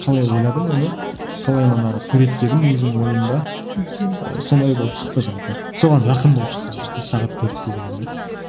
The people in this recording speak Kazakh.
қалай ойладым оны қалай манағы суреттедім өзім ойымда мхм сондай болып шықты жалпы соған жақын болып шықты жалпы сағат төртте деген ән